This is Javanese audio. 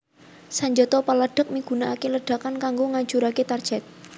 Sanjata peledhak migunakaké ledakan kanggo ngajuraké target